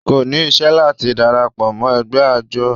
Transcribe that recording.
kò ní isẹ́ láti darapọ̀ mọ́ ẹgbẹ́ àjọ